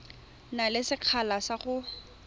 na le sekgala sa go